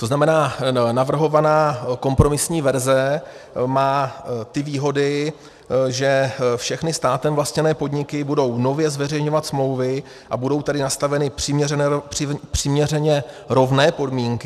To znamená, navrhovaná kompromisní verze má ty výhody, že všechny státem vlastněné podniky budou nově zveřejňovat smlouvy, a budou tedy nastaveny přiměřeně rovné podmínky.